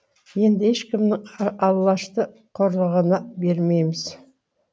енді ешкімнің алашты қорлығына бермейміз